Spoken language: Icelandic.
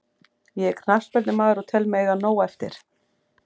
Ég er knattspyrnumaður og tel mig eiga nóg eftir.